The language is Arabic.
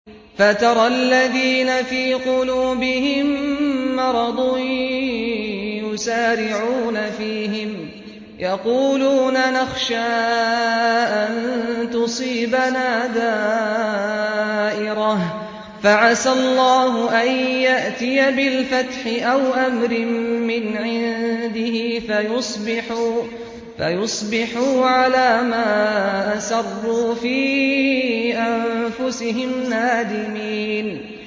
فَتَرَى الَّذِينَ فِي قُلُوبِهِم مَّرَضٌ يُسَارِعُونَ فِيهِمْ يَقُولُونَ نَخْشَىٰ أَن تُصِيبَنَا دَائِرَةٌ ۚ فَعَسَى اللَّهُ أَن يَأْتِيَ بِالْفَتْحِ أَوْ أَمْرٍ مِّنْ عِندِهِ فَيُصْبِحُوا عَلَىٰ مَا أَسَرُّوا فِي أَنفُسِهِمْ نَادِمِينَ